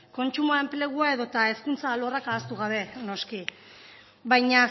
kontsumoa enplegua edo eta hezkuntza alorrak ahaztu gabe noski baina